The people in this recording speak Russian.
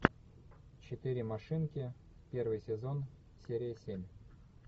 четыре машинки первый сезон серия семь